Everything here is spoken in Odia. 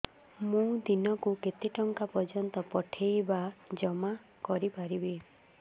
ମୁ ଦିନକୁ କେତେ ଟଙ୍କା ପର୍ଯ୍ୟନ୍ତ ପଠେଇ ବା ଜମା କରି ପାରିବି